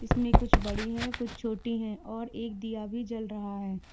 इसमें कुछ बड़ी है कुछ छोटी है और एक दिया भी जल रहा है।